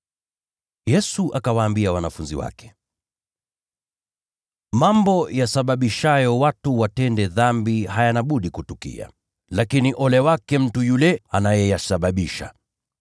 Yesu akawaambia wanafunzi wake, “Mambo yanayosababisha watu watende dhambi hayana budi kutukia. Lakini ole wake mtu yule anayeyasababisha.